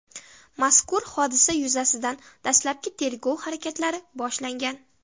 Mazkur hodisa yuzasidan dastlabki tergov harakatlari boshlangan.